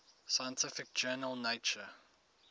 scientific journal nature